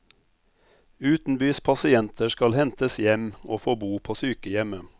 Utenbys pasienter skal hentes hjem og få bo på sykehjemmet.